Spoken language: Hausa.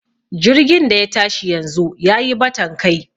jirgin da ya tashi yanzu ya yi batan Kai